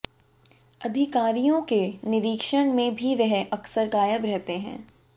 अधिकारियों के निरीक्षण में भी वह अक्सर गायब रहते हैं